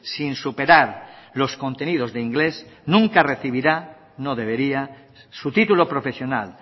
sin superar los contenidos de inglés nunca recibirá no debería su título profesional